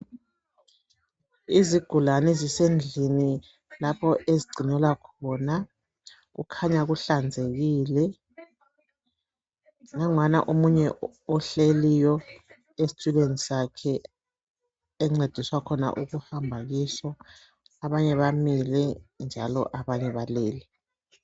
izigulane ezisendlini lapho ezigcinelwa khona kukhanya kuhlanzekile nangwana omunye ohleliyo esitulweni sakhe encediswa khona ukuhamba kiso abanye bamile njalo abanye balele